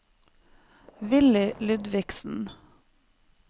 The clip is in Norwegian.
Villy Ludvigsen